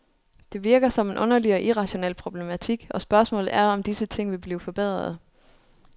Det virker som en underlig og irrationel problematik, og spørgsmålet er, om disse ting vil blive forbedrede.